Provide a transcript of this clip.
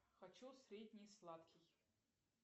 хочу средний сладкий